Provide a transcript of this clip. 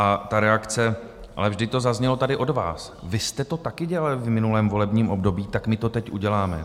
A ta reakce - ale vždy to zaznělo tady od vás, vy jste to taky dělali v minulém volebním období, tak my to teď uděláme!